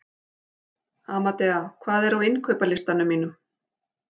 Amadea, hvað er á innkaupalistanum mínum?